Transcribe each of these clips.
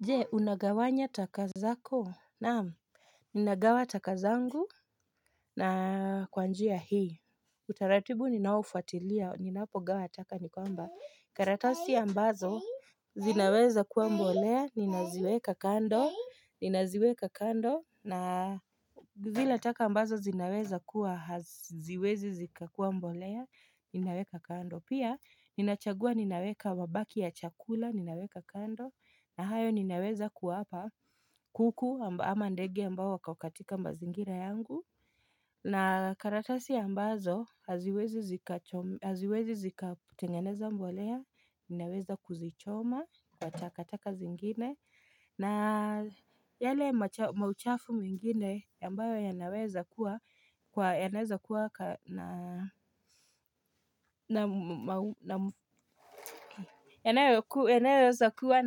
Je, unagawanya taka zako?, naam, hh ninagawa taka zangu! Mh hh na kwanjia hii, utaratibu ninaofuatilia, ninapo gawa taka nikwamba, karatasi ambazo zinaweza kuwa mbolea, ninaziweka kando, nina ziweka kando, na bu zile taka ambazo zinaweza kuwa haziwezi zikakuwa mbolea, ninaweka kando, pia, ninachagua ninaweka mabaki ya chakula ninaweka kando, na hayo ninaweza kuwapa mhh kuku amba ama ndege ambao wako katika mazingira yangu, na karatasi ambazo haziwezi zikacho haziwezi tengeneza mbolea naweza kuzichoma kwa katakata zingine, na yale macha mauchafu mengine ambayo yanaweza kuwa kwa yanaweza kua. Yanak yanayoweza kuwa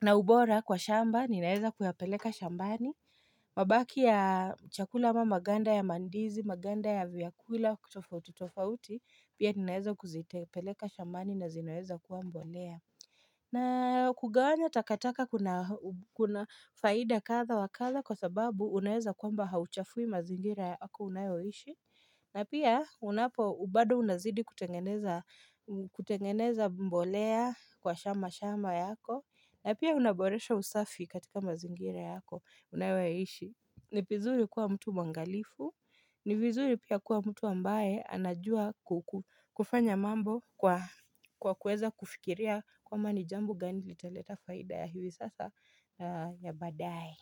na ubora kwa shamba Ninaeza kuyapeleka shambani hh mabaki ya chakula ama maganda ya mandizi Maganda ya vyakula kutofauti tofauti Pia ninaeza kuzitepeleka shambani na zinaweza kuwa mbolea. Mch hh na kugawanya takataka kuna kuna faida katha wakatha Kwa sababu unaeza kwamba hauchafui mazingira yako unayoishi hh na pia unapo bado unazidi kutengeneza kutengeneza mbolea kwa shama shamba yako na pia unaboresha usafi katika mazingira yako, unayo yaishi. Ni vizuri kuwa mtu mwangalifu, ni vizuri pia kuwa mtu ambaye anajua ku ku kufanya mambo kwa kuweza kufikiria kwmba nijambo gani litaleta faida ya hivi sasa ya badae.